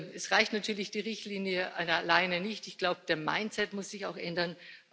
Es reicht natürlich die Richtlinie alleine nicht, ich glaube, der mindset muss sich auch ändern.